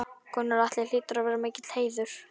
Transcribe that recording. Gunnar Atli: Hlýtur að vera mikill heiður?